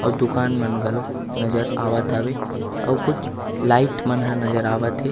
अउ दुकान मन घलो नज़र आवत हवे अउ कुछ लाइट मन ह नज़र आवत हे।